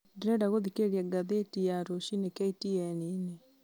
ndĩrenda gũthikĩrĩria ngathĩti ya rũciinĩ k.t.n-inĩ